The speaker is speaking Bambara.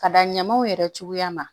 Ka da ɲamaw yɛrɛ cogoya ma